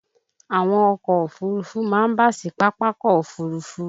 Àwọn ọkọ̀ Òfurufú máa ń bà sí Pápákọ̀ òfuurufú.